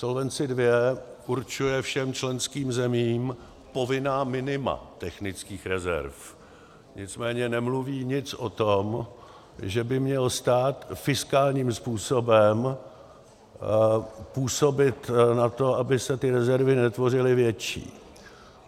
Solvency II určuje všem členským zemím povinná minima technických rezerv, nicméně nemluví nic o tom, že by měl stát fiskálním způsobem působit na to, aby se ty rezervy netvořily větší.